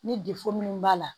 Ni min b'a la